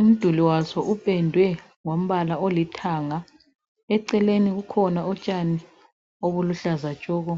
Umduli waso upendwe ngombala olithanga, eceleni kukhona utshani obuluhlaza tshoko.